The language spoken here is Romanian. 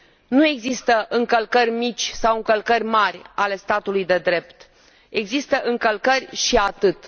Nu există încălcări mici sau încălcări mari ale statului de drept, există încălcări și atât.